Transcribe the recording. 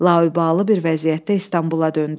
Laubali bir vəziyyətdə İstanbula döndü.